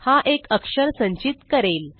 हा एक अक्षर संचित करेल